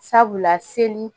Sabula seli